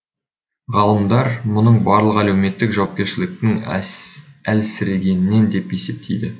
ғалымдар мұның барлығы әлеуметтік жауапкершіліктің әлсірегенінен деп есептейді